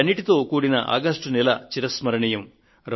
వీటన్నిటితో కూడిన ఆగస్టు నెల చిరస్మరణీయం